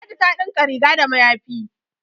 ladi ta dinka rig da mayafi